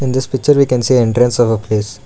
In this picture we can see the entrance of a place.